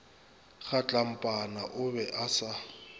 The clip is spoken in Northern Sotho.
kgatlampana o be a sa